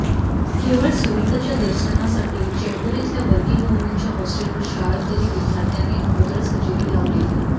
केवळ सुनीताच्या दर्शनासाठी चेंबूर इथल्या वर्किंग वुमनच्या हॉस्टेलवर शाळकरी विद्यार्थ्यांनी अगोदरच हजेरी लावलेली